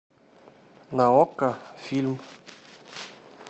на окко фильм